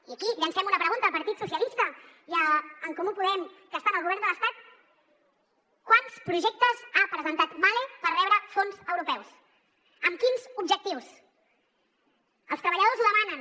i aquí llancem una pregunta al partit socialista i a en comú podem que estan al govern de l’estat quants projectes ha presentat mahle per rebre fons europeus amb quins objectius els treballadors ho demanen